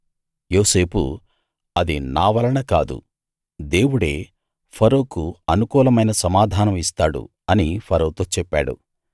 యోసేపు అది నావలన కాదు దేవుడే ఫరోకు అనుకూలమైన సమాధానం ఇస్తాడు అని ఫరోతో చెప్పాడు